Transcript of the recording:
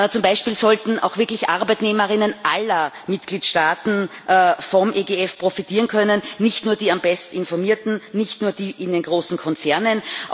Zum Beispiel sollten auch wirklich ArbeitnehmerInnen aller Mitgliedstaaten vom EGF profitieren können, nicht nur die am besten informierten, nicht nur die in den großen Konzernen.